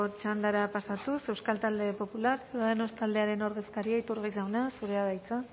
txandara pasatuz euskal talde popular ciudadanos taldearen ordezkaria iturgaiz jauna zurea da hitza